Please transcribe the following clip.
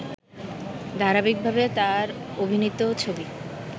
ধারাবাহিকভাবে তার অভিনীত ছবি